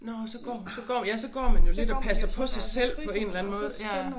Nåh så går hun så går ja så går man jo lidt og passer på sig selv på en eller anden måde ja